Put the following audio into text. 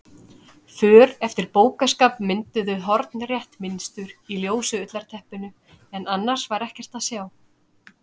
För eftir bókaskápa mynduðu hornrétt mynstur í ljósu ullarteppinu en annars var ekkert að sjá.